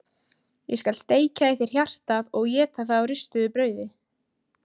Ég skal steikja í þér hjartað og éta það á ristuðu brauði!